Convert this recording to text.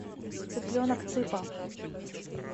цыпленок цыпа